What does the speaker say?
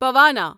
پوانا